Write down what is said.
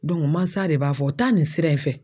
mansa de b'a fɔ taa nin sira in fɛ.